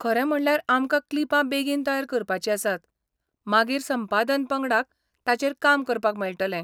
खरें म्हणल्यार आमकां क्लिपां बेगीन तयार करपाचीं आसात, मागीर संपादन पंगडाक ताचेर काम करपाक मेळटलें.